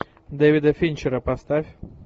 дэвида финчера поставь